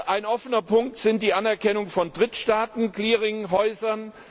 werden. Ein offener Punkt ist die Anerkennung von Drittststaaten Clearinghäusern.